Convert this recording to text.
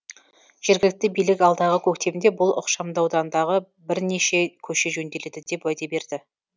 жергілікті билік алдағы көктемде бұл ықшамаудандағы бірнеше көше жөнделеді деп уәде берді